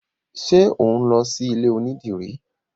Ṣe o n lọ sí ilé onídìrí?